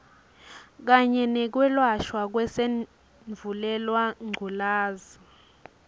kanye nekwelashwa kwesandvulelangculazi